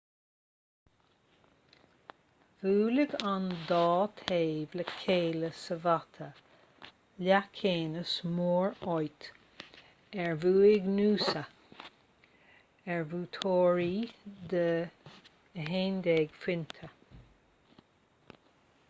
bhuailfeadh an dá thaobh le chéile sa bhabhta leathcheannais mór áit ar bhuaigh noosa ar bhuaiteoirí de 11 phointe